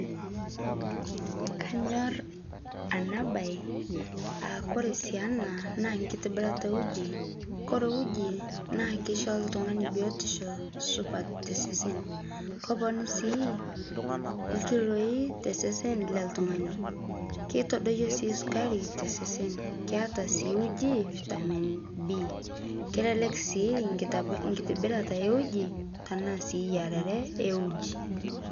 kanyor ana bai aa kore sii ana naa nkitibirata eujii kore uji naa keisho ltungani biotisho supat te sesen koponu sii lkiloi te sesen leltungani keitodoyoo sii sukari te sesen keata sii uji vitamin B kelelek sii nkitibirata ee uji tanaa sii yararee eujii